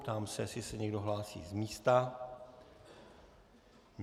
Ptám se, jestli se někdo hlásí z místa.